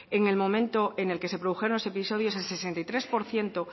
en el momento en el que se produjeron los episodios el sesenta y tres por ciento